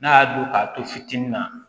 N'a y'a don k'a to fitinin na